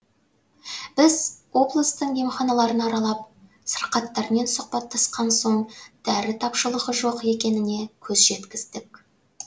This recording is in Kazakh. біз облыстың емханаларын аралап сырқаттармен сұхбаттасқан соң дәрі тапшылығы жоқ екеніне көз жеткіздік